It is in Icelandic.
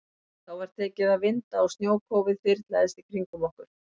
Þá var tekið að vinda og snjókófið þyrlaðist í kringum okkur.